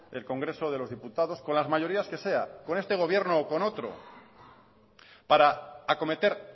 del congreso de los diputados con las mayorías que sea con este gobierno o con otro para acometer